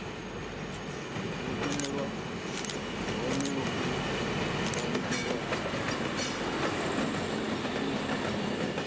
shumelwa hone hu fanela u